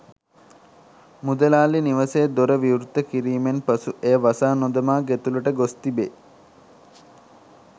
මුදලාලි නිවසේ දොර විවෘත කිරීමෙන් පසු එය වසා නොදමා ගෙතුළට ගොස්‌ තිබේ.